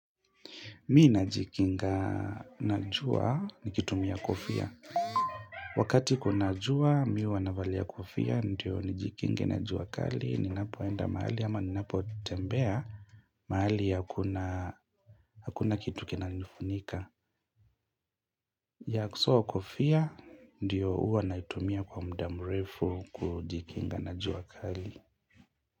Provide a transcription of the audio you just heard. Mi najikinga na jua nikitumia kofia. Wakati kuna jua, mi huwa navalia kofia, ndio nijikinge na jua kali, ninapoenda mahali ama ninapotembea, mahali hakuna kitu kinanifunika. Ya so kofia, ndio huwa naitumia kwa mda mrefu kujikinga na jua kali.